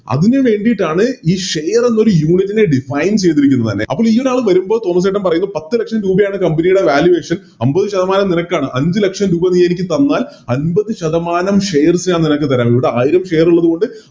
അതിനു വേണ്ടീട്ടാണ് ഈ Share എന്നൊരു Union നെ Define ചെയ്തിരിക്കുന്നത് തന്നെ അപ്പൊ ഈയൊരാള് വരുമ്പോൾ തോമസ് ചേട്ടൻ പറയുന്നു പത്ത് ലക്ഷം രൂപയാണ് Company യുടെ Valuation അമ്പത് ശതമാനം നിനക്കാണ് അഞ്ച് ലക്ഷം രൂപ നീയെനിക്ക് തന്നാൽ അമ്പത് ശതമാനം Share ഞാൻ നിനക്ക് തരാം ഇവിടെ ആയിരം Share ഉള്ളത് കൊണ്ട്